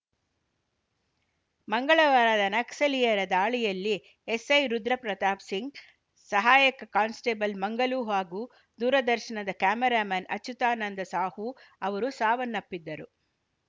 ಮಂಗಳವಾರದ ನಕ್ಸಲೀಯರ ದಾಳಿಯಲ್ಲಿ ಎಸ್‌ಐ ರುದ್ರ ಪ್ರತಾಪ್‌ ಸಿಂಗ್‌ ಸಹಾಯಕ ಕಾನ್‌ಸ್ಟೇಬಲ್‌ ಮಂಗಲು ಹಾಗೂ ದೂರದರ್ಶನದ ಕ್ಯಾಮರಾಮೇನ್‌ ಅಚ್ಯುತಾನಂದ ಸಾಹೂ ಅವರು ಸಾವನ್ನಪ್ಪಿದ್ದರು